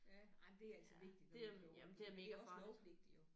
Ja ej men det er altså vigtigt når man kører rundt det er også lovpligtigt jo